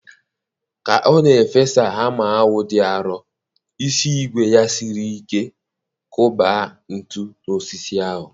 Ka ọ na-efesa hama ahụ dị arọ, isi ígwè ya siri ike kwọba ntu n'osisi ahụ.